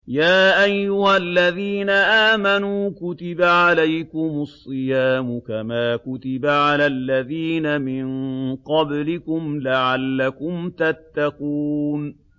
يَا أَيُّهَا الَّذِينَ آمَنُوا كُتِبَ عَلَيْكُمُ الصِّيَامُ كَمَا كُتِبَ عَلَى الَّذِينَ مِن قَبْلِكُمْ لَعَلَّكُمْ تَتَّقُونَ